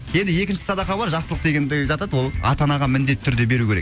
енді екінші садақа бар жақсылық дегендегі жатады ол ата анаға міндетті түрде беруі керек